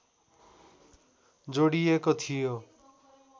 जोडिएको थियो